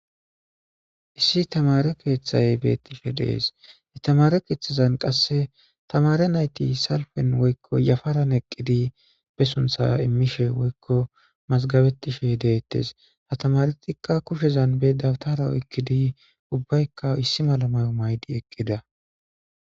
issi tamare keeththay beettishe dees itamare keeththazan qasse tamare nayti salpen woykko yafaran eqqidi be suntha immishe woykko mazgabettishe deettes ha tamaretikka kushezan bedatara oykkidi ubbaykka issi malamayo maydi eqqida